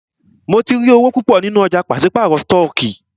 Mó tí rí owó púpọ nínú ọ̀jà pàṣípàrọ̀ stọọkí.